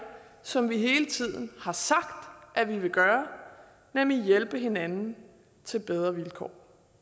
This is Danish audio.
som vi hele tiden har sagt at vi vil gøre nemlig hjælpe hinanden til bedre vilkår